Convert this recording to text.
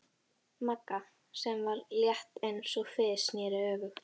Magga, sem var létt eins og fis, sneri öfugt.